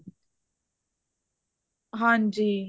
ਹਾਂਜੀ